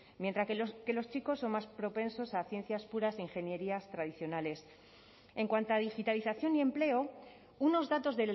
mientras que los chicos son más propensos a ciencias puras ingenierías tradicionales en cuanto a digitalización y empleo unos datos